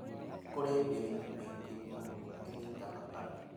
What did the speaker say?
Kũrĩ mĩrimũ mĩingĩ mũno ĩnyitaga andũ